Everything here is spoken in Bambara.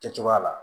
Kɛ cogoya la